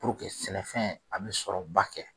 sɛnɛfɛn a bi sɔrɔba kɛ.